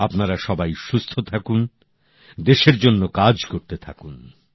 আপনারা সবাই সুস্থ থাকুন দেশের জন্য কাজ করতে থাকুন